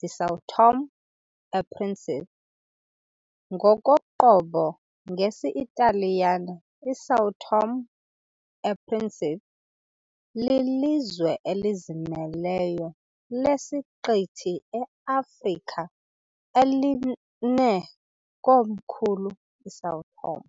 de São Tomé e Príncipe", ngokoqobo ngesiTaliyane "iSan Tommaso e Principe", lilizwe elizimeleyo lesiqithi eAfrika elinekomkhulu iSão Tomé.